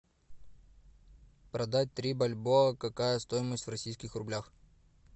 продать три бальбоа какая стоимость в российских рублях